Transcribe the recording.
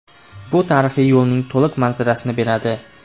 Bu tarixiy yo‘lning to‘liq manzarasini beradi.